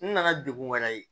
N nana degun wɛrɛ ye